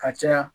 Ka caya